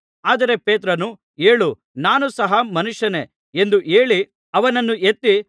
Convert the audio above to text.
ಆದರೆ ಪೇತ್ರನು ಏಳು ನಾನೂ ಸಹಾ ಮನುಷ್ಯನೇ ಎಂದು ಹೇಳಿ ಅವನನ್ನು ಎತ್ತಿ